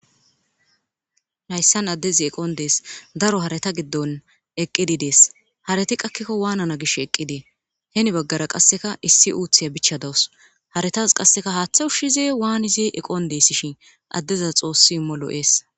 Haysan adez eqon Des,daro hareta giddon eqid Des, haret qakiko Wanana gishe eqide iza hen bagara qaseka issi uthiya bicha dawus , haretas qaseka hathe ushize wanize eqon deseshn adezas xoosi imo lo'es.